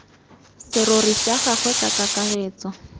serori sa gagwe ka kakaretso